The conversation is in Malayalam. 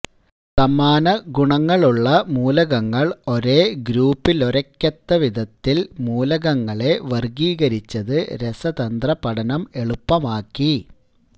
സമാനഗുണങ്ങളുളള മൂലകങ്ങള് ഒരേ ഗ്രൂപ്പില്വരയ്ക്കത്തക്കവിധത്തില് മൂലകങ്ങളെ വര്ഗീകരിച്ചത് രസതന്ത്ര പഠനം എളുപ്പമാക്കി